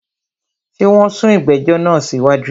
Ṣé wọn sún ìgbẹ̀jọ̀ náà sí wájú?